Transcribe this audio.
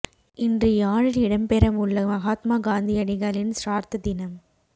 இன்று யாழில் இடம்பெறவுள்ள மகாத்மா காந்தியடிகளின் சிரார்த்த தினம்